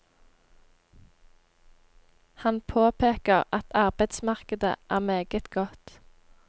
Han påpeker at arbeidsmarkedet er meget godt.